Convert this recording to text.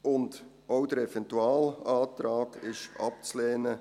Auch der Eventualantrag ist abzulehnen.